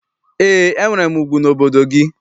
Eé, enwere m ugwu n'obodo gị.